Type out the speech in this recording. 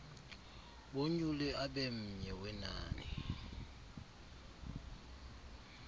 bonyule abenmye wenani